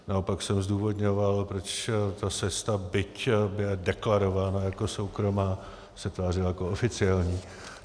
Naopak jsem zdůvodňoval, proč ta cesta, byť byly deklarována jako soukromá, se tvářila jako oficiální.